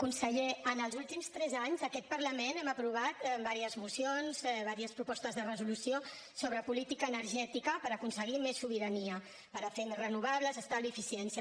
conseller en els últims tres anys aquest parlament hem aprovat en diverses mocions diverses propostes de resolució sobre política energètica per aconseguir més sobirania per fer més renovables estalvi eficiència